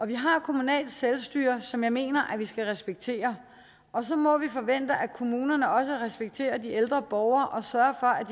vi har kommunalt selvstyre som jeg mener at vi skal respektere og så må vi forvente at kommunerne også respekterer de ældre borgere og sørger